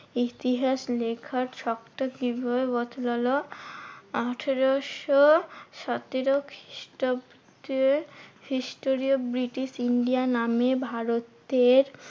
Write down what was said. ইতিহাস লেখার ছকটা কিভাবে বদলালো? আঠেরোশো সতেরো খ্রিস্টাব্দে হিস্টোরিও ব্রিটিশ ইন্ডিয়ান আর্মি ভারতের